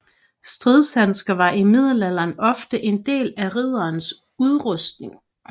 Stridshandsker var i middelalderen ofte del af en ridders rustning